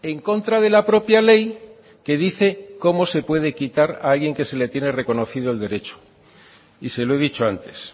en contra de la propia ley que dice cómo se puede quitar a alguien que se le tiene reconocido el derecho y se lo he dicho antes